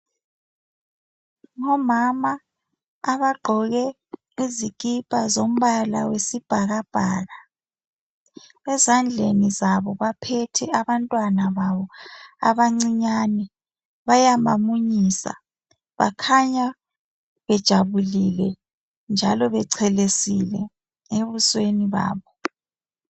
Ngomama abagqoke izikipa zombala wesibhakabhaka ezandleni zabo baphethe abantwana babo abancinyane, bayabamunyisa. Bakhanya bejabulile njalo bechelesile ebusweni babo.